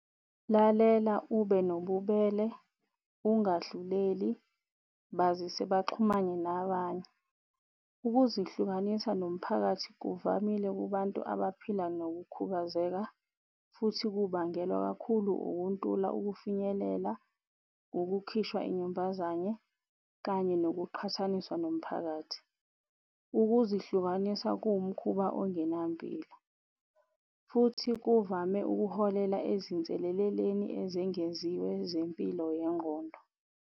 Lalela ube nobubele ungadluleli bazise baxhumane nabanye. Ukuzihlukanisa nomphakathi kuvamile kubantu abaphila nokukhubazeka, futhi kubangelwa kakhulu ukuntula ukufinyelela, ukukhishwa inyumbazane kanye ngokuqhathaniswa nomphakathi. Ukuzihlukanisa kuwumkhuba ongenampilo futhi kuvame ukuholela ezinseleleleni ezengeziwe zempilo yengqondo.